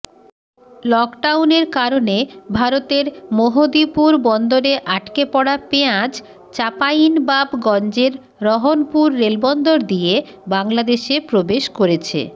লকডাউনের কারণে ভারতের মোহদীপুর বন্দরে আটকে পড়া পেঁয়াজ চাঁপাইনবাবগঞ্জের রহনপুর রেলবন্দর দিয়ে বাংলাদেশে প্রবেশ করেছে